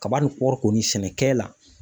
Kaba ni kɔɔri kɔni sɛnɛkɛ la